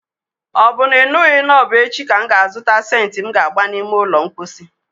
Ọ bụ na ị nụghị na ọbụ echi ka m ga azụta sentị m ga agba n'ime ụlọ ulo mposi?